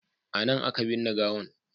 A nan a ka binne gawan